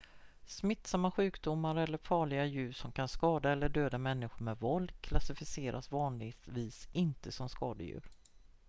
smittsamma sjukdomar eller farliga djur som kan skada eller döda människor med våld klassificeras vanligtvis inte som skadedjur